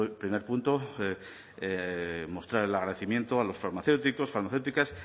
primer punto mostrar el agradecimiento a los farmacéuticos farmacéuticas